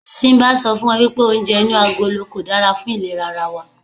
Tí n bá sọ fún ọ wípé oúnjẹ inú agolo kò dára fún ìlera wa.